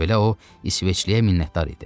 Bununla belə o, İsveçliyə minnətdar idi.